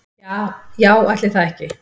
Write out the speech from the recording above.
Ja já ætli það ekki.